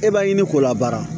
E b'a ɲini k'o la baara